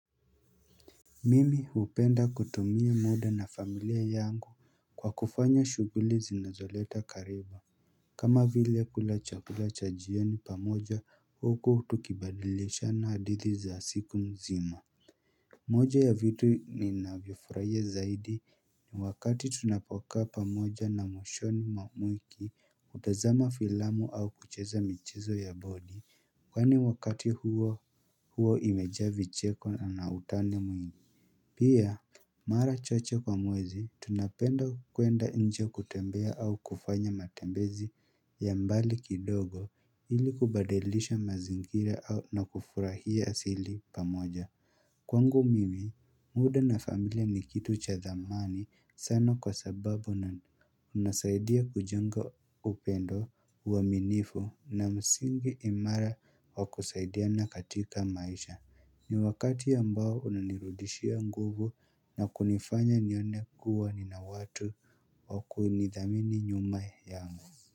Mimi hupenda kutumia muda na familia yangu kwa kufanya shuguli zinazoleta karibu kama vile kula chakula cha jioni pamoja huku tukibadilishana hadithi za siku mzima moja ya vitu ninavyofuraia zaidi ni wakati tunapokaa pamoja na mwishoni mwa wiki hutazama filamu au kucheza michezo ya bodi Kwa ni wakati huo huo imejaa vicheko na na utani mwingi Pia Mara chache kwa mwezi, tunapenda kuenda nje kutembea au kufanya matembezi ya mbali kidogo ili kubadalisha mazingira au na kufurahia asili pamoja. Kwangu mimi, muda na familia ni kitu cha dhamani sana kwa sababu na unasaidia kujenga upendo uwaminifu na misingi imara wa kusaidiana katika maisha. Ni wakati ambao unanirudishia nguvu na kunifanya nione kuwa nina watu wakuinidhamini nyuma yangu.